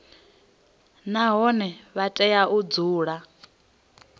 nahone vha tea u dzula